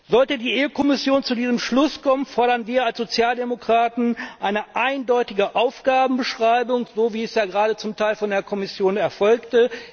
Sollte die Kommission zu diesem Schluss kommen, fordern wir als Sozialdemokraten eine eindeutige Aufgabenbeschreibung, so wie es ja gerade zum Teil von der Kommission erfolgte.